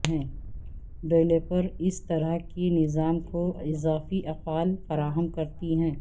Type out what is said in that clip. developers اس طرح کے نظام کو اضافی افعال فراہم کرتی ہیں